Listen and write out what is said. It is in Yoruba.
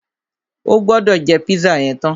O gbọ́dọ̀ jẹ́ pízà yẹn tán!